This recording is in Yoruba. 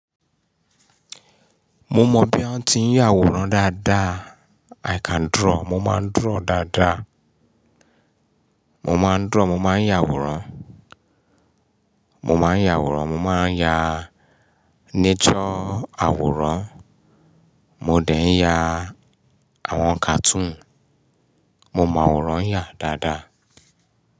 Mo mọ bí wọ́n ti ń yà àwòrán dáadáa. I can draw. Mo máa ń draw dáadáa. Mo máa ń draw. Mo máa ń yà àwòrán. Mo máa ń yà àwòrán. Mo máa ń ya nature àwòrán. Mo dẹ̀ ń yà àwọn cartoon. Mo mọ àwòrán yà dáadáa.